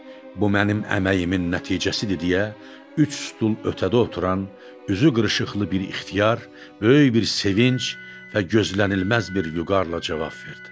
Bu mənim əməyimin nəticəsidir deyə üç stul ötədə oturan, üzü qırışıqlı bir ixtiyar, böyük bir sevinc və gözlənilməz bir vüqarla cavab verdi.